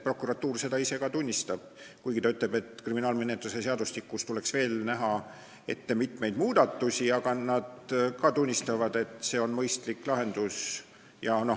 Prokuratuur seda ise tunnistab, kuigi ta ütleb, et kriminaalmenetluse seadustikus tuleks teha veel mitmeid muudatusi, aga nad ka tunnistavad, et see on mõistlik lahendus.